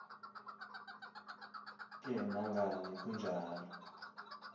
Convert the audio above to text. ke nangani kunjalo